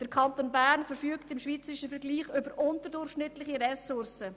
Der Kanton Bern verfügt im schweizerischen Vergleich über unterdurchschnittliche Ressourcen.